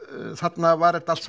þarna var þetta allt